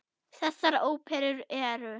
Þessar óperur eru